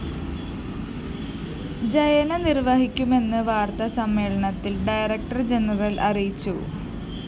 ജയന നിര്‍വഹിക്കുമെന്ന് വാര്‍ത്ത സമ്മേളനത്തില്‍ ഡയറക്ടർ ജയന്‍ അറിയിച്ചു